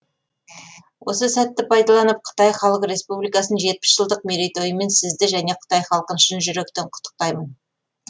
осы сәтті пайдаланып қытай халық республикасын жетпіс жылдық мерейтойымен сізді және қытай халқын шын жүректен құттықтаймын